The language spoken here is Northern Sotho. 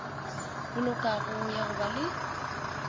bolokago ya go ba le